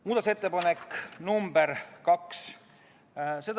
Muudatusettepanek nr 2.